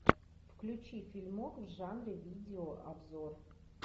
включи фильмок в жанре видеообзор